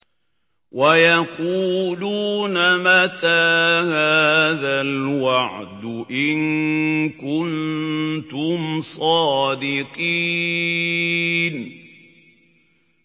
وَيَقُولُونَ مَتَىٰ هَٰذَا الْوَعْدُ إِن كُنتُمْ صَادِقِينَ